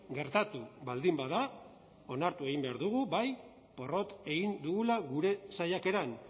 gertatu baldin bada onartu egin behar dugu bai porrot egin dugula gure saiakeran